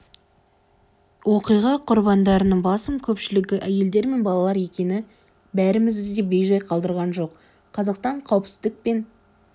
оқиға құрбандарының басым көпшілігі әйелдер мен балалар екені бәрімізді де бей-жай қалдырған жоқ қазақстан қауіпсіздік пен